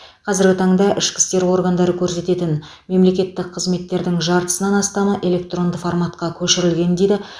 қазіргі таңда ішкі істер органдары көрсететін мемлекеттік қызметтердің жартысынан астамы электронды форматқа көшірілген дейді